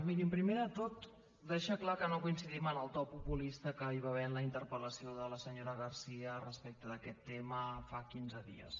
mirin primer de tot deixar clar que no coincidim amb el to populista que hi va ha·ver en la interpel·lació de la senyora garcía respecte d’aquest tema fa quinze dies